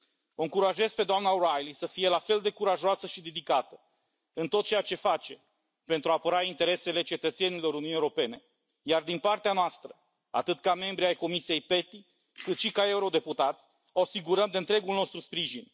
O încurajez pe doamna O'Reilly să fie la fel de curajoasă și dedicată în tot ceea ce face, pentru a apăra interesele cetățenilor Uniunii Europene, iar din partea noastră, atât ca membri ai Comisiei PETI, cât și ca eurodeputați, o asigurăm de întregul nostru sprijin.